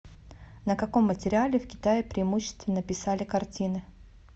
на каком материале в китае преимущественно писали картины